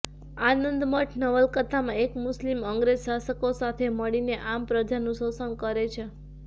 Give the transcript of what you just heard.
આનંદમઠ નવલકથામાં એક મુસ્લિમ અંગ્રેજ શાસકો સાથે મળીને આમપ્રજાનું શોષણ કરે છે